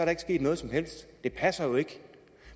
ikke sket noget som helst det passer jo ikke